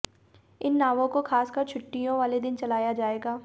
इन नावों को खासकर छुट्टियों वाले दिन चलाया जाएगा